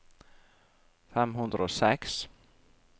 fem hundre og seks